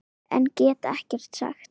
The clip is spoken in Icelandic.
En get ekkert sagt.